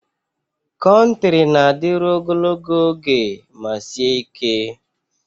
Konkiri na-adịru ogologo oge ma sie ike.